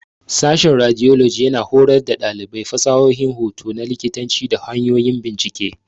Sashen Radiology yana horar da ɗalibai fasahohin hoto na likitanci da hanyoyin bincike.